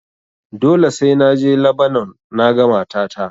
Dole sai na je Labanon naga matata.